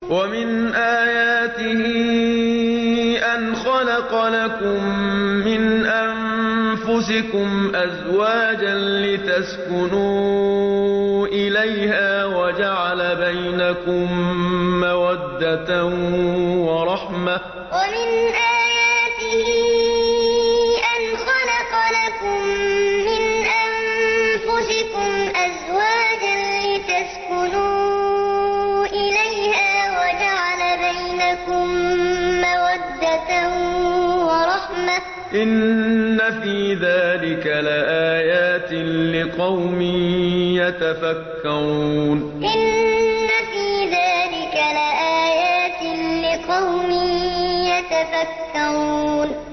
وَمِنْ آيَاتِهِ أَنْ خَلَقَ لَكُم مِّنْ أَنفُسِكُمْ أَزْوَاجًا لِّتَسْكُنُوا إِلَيْهَا وَجَعَلَ بَيْنَكُم مَّوَدَّةً وَرَحْمَةً ۚ إِنَّ فِي ذَٰلِكَ لَآيَاتٍ لِّقَوْمٍ يَتَفَكَّرُونَ وَمِنْ آيَاتِهِ أَنْ خَلَقَ لَكُم مِّنْ أَنفُسِكُمْ أَزْوَاجًا لِّتَسْكُنُوا إِلَيْهَا وَجَعَلَ بَيْنَكُم مَّوَدَّةً وَرَحْمَةً ۚ إِنَّ فِي ذَٰلِكَ لَآيَاتٍ لِّقَوْمٍ يَتَفَكَّرُونَ